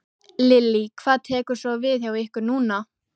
Lillý: Hvað tekur svo við hjá ykkur núna?